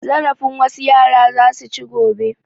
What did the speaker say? Zarafin wasu yara za su ci gobe.